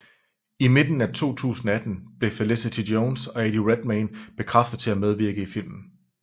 I midten af 2018 blev Felicity Jones og Eddie Redmayne bekræftet til at medvirke i filmen